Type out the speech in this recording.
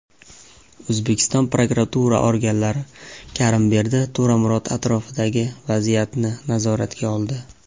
O‘zbekiston prokuratura organlari Karimberdi To‘ramurod atrofidagi vaziyatni nazoratga oldi.